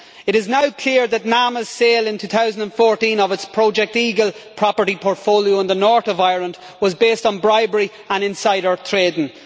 It is now clear that NAMA's sale in 2014 of its Project Eagle property portfolio in the North of Ireland was based on bribery and insider trading.